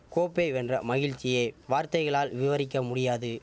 கோப்பை வென்ற மகிழ்ச்சியே வார்த்தைகளால் விவரிக்க முடியாது